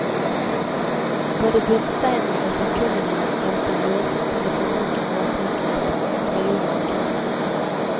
Både bunnsteinen og forkullingen av stolpen gjorde sitt til å forsinke råteangrep fra jorden omkring.